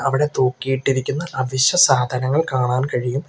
അവടെ തൂക്കിയിട്ടിരിക്കുന്ന അവശ്യസാധനങ്ങൾ കാണാൻ കഴിയും.